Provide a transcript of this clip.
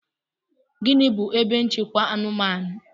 Gịnị bu ebe nchekwa anụmanụ?